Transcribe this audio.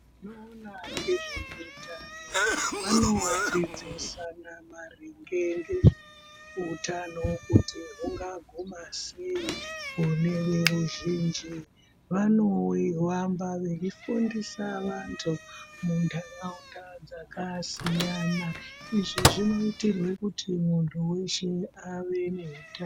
Vanoona nezveutano vanodzidzisana maringe ngezveutano kuti hungaguma sei kune veruzhinji. Vanohamba veifundisa vantu muntaraunda dzakasiyana izvi zvinoitirwe kuti muntu weshe ave neutano.